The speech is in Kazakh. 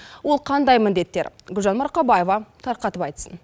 ол қандай міндеттер гүлжан марқабаева тарқатып айтсын